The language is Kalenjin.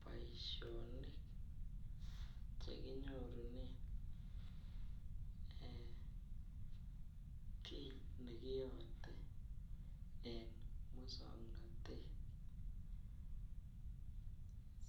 Boishonik chekinyorunen eeh kii nekiyote en muswoknotet